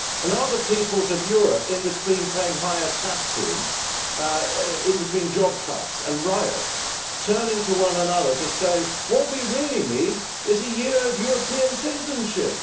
Are the peoples of Europe, in between paying higher taxes, in between job cuts and riots, turning to one another to say that what we really need is a Year of European Citizenship?